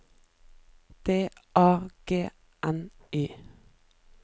D A G N Y